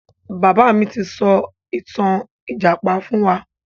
Bàbá mi ti sọ ìtàn ìjàpá fún wa.